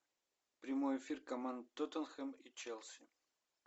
прямой эфир команд тоттенхэм и челси